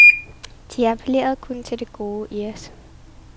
De appellerede kun til det gode i os.